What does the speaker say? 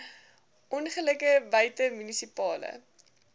ongelukke buite munisipale